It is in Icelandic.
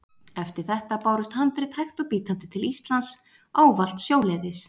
Eftir þetta bárust handrit hægt og bítandi til Íslands, ávallt sjóleiðis.